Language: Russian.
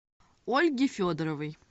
ольге федоровой